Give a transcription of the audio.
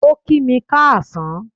O ki mi káasán